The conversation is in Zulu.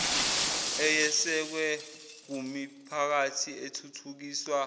eyesekwe kumiphakathi ethuthukiswa